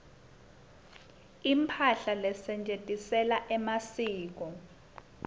imphahla lesetjentisela masiko